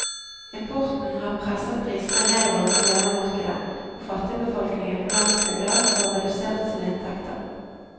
Importen har presset prisene nedover på hjemmemarkedet, og fattigbefolkningen på landsbygda får redusert sine inntekter.